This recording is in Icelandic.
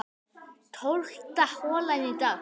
Tólfta holan í dag